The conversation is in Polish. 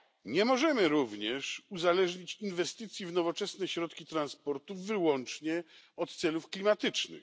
Nie możemy również uzależnić inwestycji w nowoczesne środki transportu wyłącznie od celów klimatycznych.